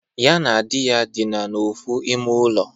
Ya na di ya dịna n'ofu ime ulo.